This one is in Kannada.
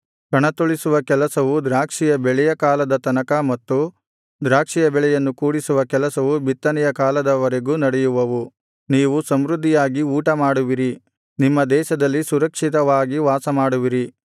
ಕಣತುಳಿಸುವ ಕೆಲಸವು ದ್ರಾಕ್ಷಿಯ ಬೆಳೆಯ ಕಾಲದ ತನಕ ಮತ್ತು ದ್ರಾಕ್ಷಿಯ ಬೆಳೆಯನ್ನು ಕೂಡಿಸುವ ಕೆಲಸವು ಬಿತ್ತನೆಯ ಕಾಲದ ವರೆಗೂ ನಡೆಯುವವು ನೀವು ಸಮೃದ್ಧಿಯಾಗಿ ಊಟ ಮಾಡುವಿರಿ ನಿಮ್ಮ ದೇಶದಲ್ಲಿ ಸುರಕ್ಷಿತವಾಗಿ ವಾಸಮಾಡುವಿರಿ